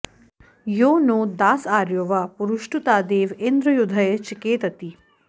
यो नो॒ दास॒ आर्यो॑ वा पुरुष्टु॒तादे॑व इन्द्र यु॒धये॒ चिके॑तति